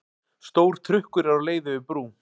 Stór trukkur er á leið yfir brú.